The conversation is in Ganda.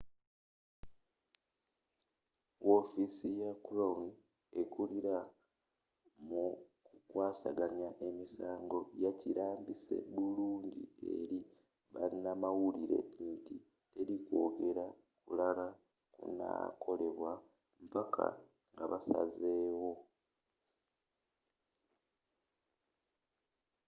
w'offisi ya crown ekulila mu ku kwasaganya emisango yakilambise bulungi eri banamawulire nti teli kwogere kulala kunakolebwa mpaka nga basaze wo